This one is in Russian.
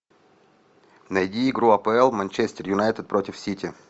найди игру апл манчестер юнайтед против сити